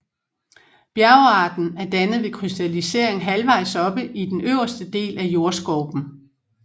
Bjergarten er dannet ved krystallisering halvvejs oppe i den øverste del af jordskorpen